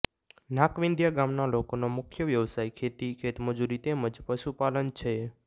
નાકવિંધીયા ગામના લોકોનો મુખ્ય વ્યવસાય ખેતી ખેતમજૂરી તેમ જ પશુપાલન છે